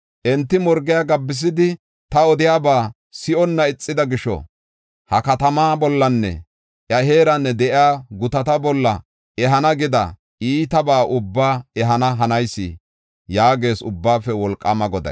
Enti morgiya gabbisidi, ta odiyaba si7onna ixida gisho ha katamaa bollanne iya heeran de7iya gutata bolla ehana gida iitabaa ubbaa ehana hanayis” yaagees Ubbaafe Wolqaama Goday.